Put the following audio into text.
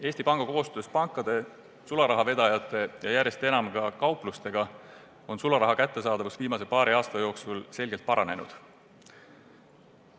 Eesti Panga ning pankade, sularahavedajate ja järjest enam ka kaupluste koostöös on sularaha kättesaadavus viimase paari aasta jooksul selgelt paranenud.